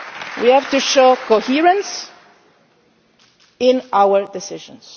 We have to show coherence in our decisions.